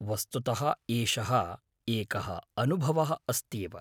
वस्तुतः एषः एकः अनुभवः अस्त्येव।